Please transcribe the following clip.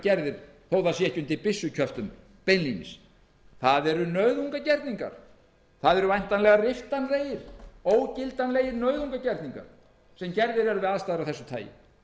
sé ekki undir byssukjöftum beinlínis það eru nauðungargerningar það eru væntanlega riftanlegir ógildanlegir nauðungargerningar sem gerðir eru við aðstæður af þessu tagi